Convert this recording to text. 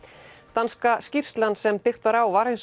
danska skýrslan sem byggt var á var hins